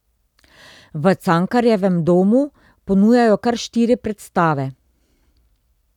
V Cankarjevem domu ponujajo kar štiri predstave.